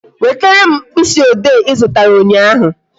Wetere m mkpịsị ode Ị zụtara ụnyaahụ